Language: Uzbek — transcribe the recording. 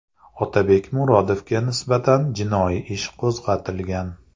Otabek Murodovga nisbatan jinoiy ish qo‘zg‘atilgan.